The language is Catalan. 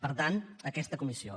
per tant aquesta comissió